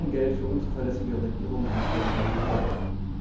Kein Geld für unzuverlässige Regierungen und schlechte Verwaltungen!